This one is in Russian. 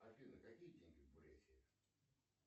афина какие деньги в бурятии